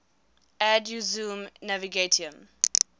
ad usum navigatium